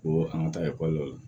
Ko an ka taa ekɔli la